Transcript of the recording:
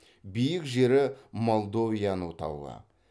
биік жері молдовяну тауы